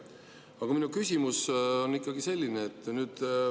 Aga minu küsimus on ikkagi selline.